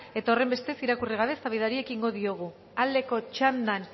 eta horrenbestez irakurri gabe eztabaidari ekingo diogu aldeko txandan